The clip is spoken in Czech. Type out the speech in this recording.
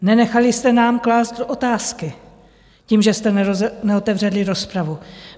Nenechali jste nám klást otázky tím, že jste neotevřeli rozpravu.